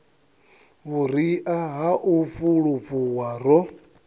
vhuria ha u fulufhuwa ro